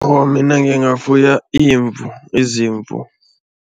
Awa, mina ngingafuya imvu, izimvu.